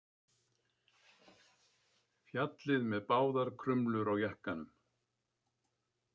Fjallið með báðar krumlur á jakkanum.